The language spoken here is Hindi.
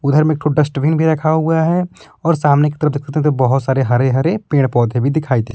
उधर में एक ठो डस्टबिन भी रखा हुआ है और सामने की तरफ बहोत सारे हरे हरे पेड़ पौधे भी दिखाई दे--